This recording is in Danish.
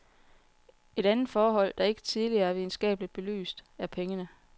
Et andet forhold, der ikke tidligere er videnskabeligt belyst, er pengene.